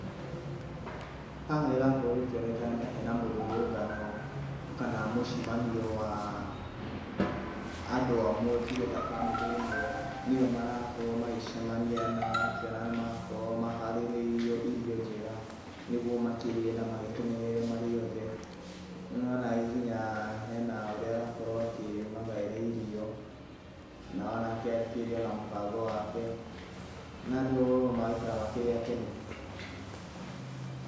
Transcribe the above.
Haha ĩrakorwo ĩkĩoneka nĩ ta hena mũrũrũngano kana mũcemanio wa andũ amwe tuge ta bamĩrĩ ĩmwe nĩo marakorwo magĩcemania. Nĩ ũrakĩona nĩ marakorwo maharĩrĩirio irio njega nĩguo makĩrĩe na makenerere marĩ othe. Nĩ wona nginya haha hena ũrĩa ũrakorwo akĩmagaĩra irio, na onake akĩrĩ na mũbango wake na andũ magaikara makĩrĩ akenu.